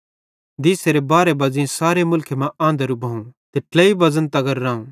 दीसेरे बारहे बज़ेई सारे मुल्खे मां आंधरू भोवं ते ट्लेई बज़न तगर रावं